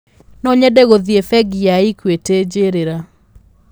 No nyende gũthiĩ bengi ya equity njĩriĩra